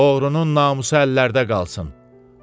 Oğrunun namusu əllərdə qalsın.